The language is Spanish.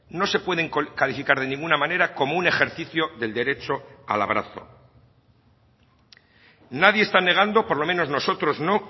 no se pueden calificar de ninguna manera como un ejercicio del derecho al abrazo nadie está negando por lo menos nosotros no